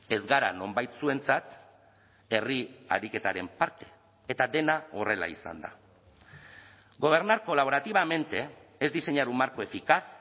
ez gara nonbait zuentzat herri ariketaren parte eta dena horrela izanda gobernar colaborativamente es diseñar un marco eficaz